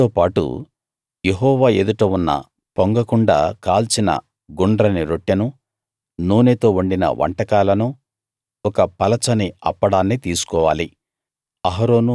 వాటితోపాటు యెహోవా ఎదుట ఉన్న పొంగకుండా కాల్చిన గుండ్రని రొట్టెను నూనెతో వండిన వంటకాలను ఒక పలచని అప్పడాన్ని తీసుకోవాలి